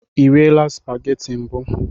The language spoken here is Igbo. I riela supageti mbụ?